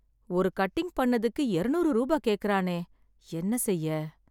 ஒரு கட்டிங் பண்ணதுக்கு எரநூறு ரூபா கேக்குறானே, என்ன செய்ய.